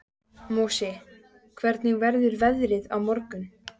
Mosi, hvernig verður veðrið á morgun?